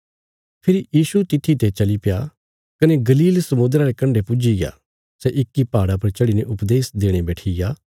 फेरी यीशु तित्थी ते चलीप्या कने गलील समुद्रा रे कण्डे पुज्जीग्या सै इक्की पहाड़ा पर चढ़ीने उपदेश देणे बैठिग्या